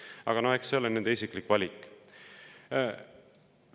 Aga eks see ole nende isiklik valik.